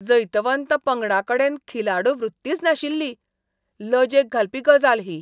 जैतवंत पंगडाकडेन खिलाडू वृत्तीच नाशिल्ली, लजेक घालपी गजाल ही.